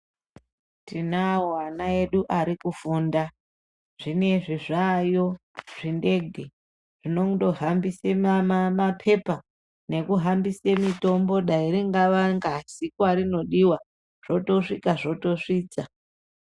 Tinawo ana edu ari kufunda zvinezvi zvaayo zvindege zvinondo hambise mapepa neku hambise mitombo dai ringava ngazi kwarinodiwa zvotosvika zvotosvitsa.